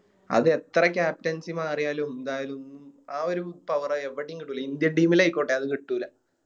അതെത്ര Captains മാറിയാലും എന്തായാലും ആ ഒര് Power എവിടേം കിട്ടൂല Indian team ആയിക്കോട്ടെ അത് കിട്ടൂല